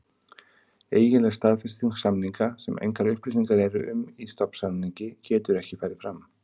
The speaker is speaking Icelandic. Eiginleg staðfesting samninga, sem engar upplýsingar eru um í stofnsamningi, getur ekki farið fram.